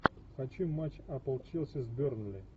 хочу матч апл челси с бернли